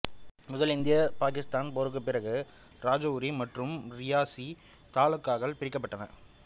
முதல் இந்திய பாக்கித்தான் போருக்கு பிறகு ராஜௌரி மற்றும் ரியாசி தாலுகாக்கள் பிரிக்கப்பட்டன